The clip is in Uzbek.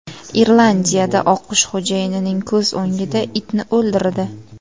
Irlandiyada oqqush xo‘jayinining ko‘z o‘ngida itni o‘ldirdi.